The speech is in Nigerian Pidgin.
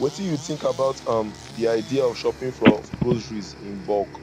wetin you think about um di idea of shopping for groceries in bulk